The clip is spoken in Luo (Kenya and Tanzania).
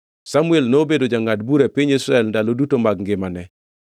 Samuel nobedo jangʼad bura e piny Israel e ndalo duto mag ngimane.